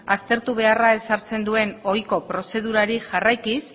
aztertu beharra ezartzen duen ohiko prozedurari jarraikiz